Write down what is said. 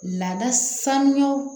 Lada sanuya